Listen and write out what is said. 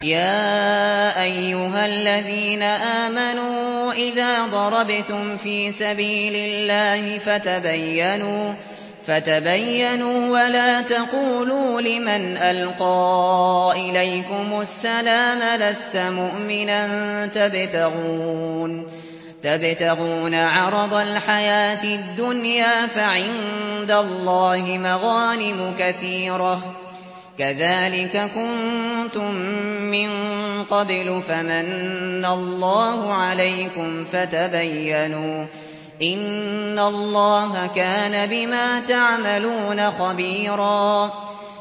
يَا أَيُّهَا الَّذِينَ آمَنُوا إِذَا ضَرَبْتُمْ فِي سَبِيلِ اللَّهِ فَتَبَيَّنُوا وَلَا تَقُولُوا لِمَنْ أَلْقَىٰ إِلَيْكُمُ السَّلَامَ لَسْتَ مُؤْمِنًا تَبْتَغُونَ عَرَضَ الْحَيَاةِ الدُّنْيَا فَعِندَ اللَّهِ مَغَانِمُ كَثِيرَةٌ ۚ كَذَٰلِكَ كُنتُم مِّن قَبْلُ فَمَنَّ اللَّهُ عَلَيْكُمْ فَتَبَيَّنُوا ۚ إِنَّ اللَّهَ كَانَ بِمَا تَعْمَلُونَ خَبِيرًا